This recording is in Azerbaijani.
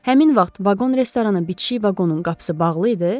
Həmin vaxt vaqon-restorana bitişik vaqonun qapısı bağlı idi?